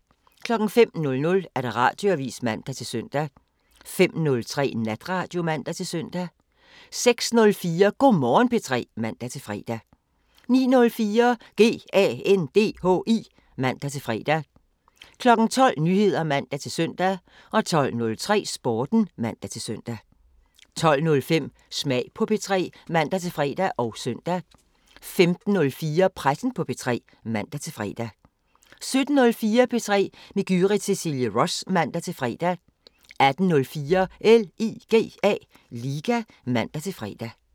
05:00: Radioavisen (man-søn) 05:03: Natradio (man-søn) 06:04: Go' Morgen P3 (man-fre) 09:04: GANDHI (man-fre) 12:00: Nyheder (man-søn) 12:03: Sporten (man-søn) 12:05: Smag på P3 (man-fre og søn) 15:04: Pressen på P3 (man-fre) 17:04: P3 med Gyrith Cecilie Ross (man-fre) 18:04: LIGA (man-fre)